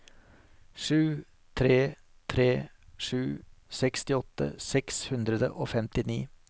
sju tre tre sju sekstiåtte seks hundre og femtini